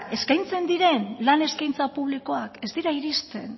eskaintzen diren lan eskaintza publikoak ez dira iristen